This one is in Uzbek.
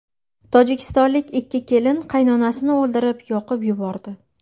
Tojikistonlik ikki kelin qaynonasini o‘ldirib, yoqib yubordi.